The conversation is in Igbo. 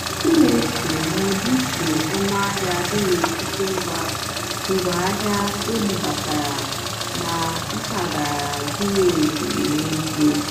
m nà-èché mà ọ́dị́íché ónúàhịá dì n'étìtì ngwá àhịá ébúbátàrá nà mpàgàrà zìrí ézí n'èzíé.